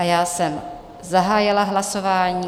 A já jsem zahájila hlasování.